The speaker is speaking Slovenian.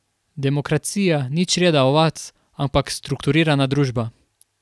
Demokracija ni čreda ovac, ampak strukturirana družba.